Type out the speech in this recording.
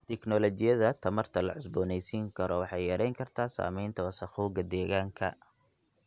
Tignoolajiyada tamarta la cusboonaysiin karo waxay yarayn kartaa saamaynta wasakhowga deegaanka.